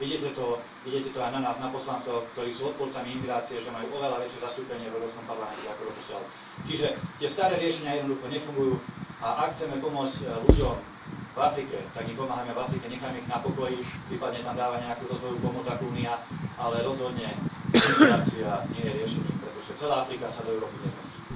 Vidieť je to aj na nás, na poslancoch, ktorí sú odporcami imigrácie, že majú oveľa väčšie zastúpenie v Európskom parlamente ako doposiaľ, čiže tie staré riešenia jednoducho nefungujú a ak chceme pomôcť ľuďom v Afrike, tak im pomáhajme v Afrike, nechajme ich na pokoji, prípadne tam dávajme nejakú rozvojovú pomoc ako Únia, ale rozhodne imigrácia nie je riešením, pretože celá Afrika sa do Európy nezmestí.